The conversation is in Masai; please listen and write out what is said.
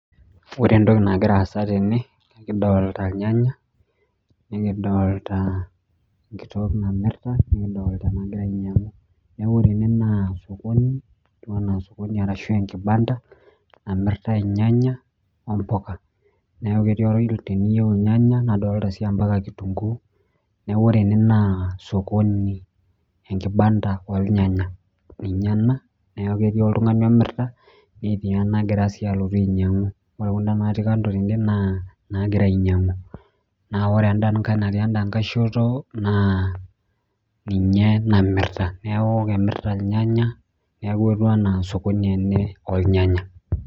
Wore entoki nakira aasa tene, ekidolita ilnyanya, nikidoolta enkitok namirta nikidoolta enakira ainyiangu, neeku wore ene naa osokoni, etiu enaa osokoni ashu enkibanda, namirtai ilnyanya ompuka, neeku ketii teniyieu ilnyanya nadoolta sii ambaka kitunguu, neeku wore ene naa sokoni enkibanda oolnyanya ninye ena neeku ketii oltungani omirta netii enakira sii alotu ainyiangu, wore kunda natii kando tende naa naakirae ainyiangu naa wore enda nkae natii endakae shoto naa ninye namirta neeku kemirta ilnyanya neeku ketiu enaa osokoni ene oolnyanya.